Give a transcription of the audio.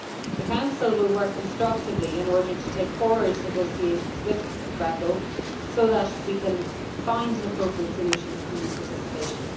The Council will work constructively in order to take forward its negotiations with GRECO so that we can find an appropriate solution to EU participation.